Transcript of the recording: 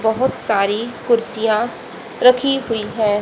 बहोत सारी कुर्सियां रखी हुई है।